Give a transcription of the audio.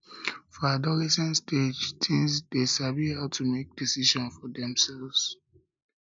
for adolescent stage teens de sabi how to make decision for themselve